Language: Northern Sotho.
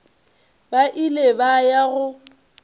ba ile ba ya go